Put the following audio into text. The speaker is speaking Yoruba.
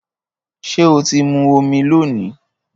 Ṣé o ti mu omi lónìí?